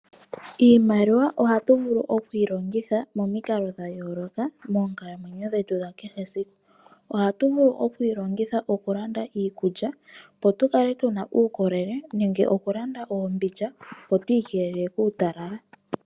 Iimaliwa ohatu vulu okuyi longitha momikalo dha yooloka moonkalamwenyo dhetu dha kee esiku. Ohatu vulu oku yi longitha okulanda iikulya, opo tu kale tu na uukolele nenge okulanda oombindja, opo tu ikelele kuutalala.